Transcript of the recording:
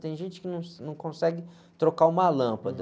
Tem gente que não, não consegue trocar uma lâmpada.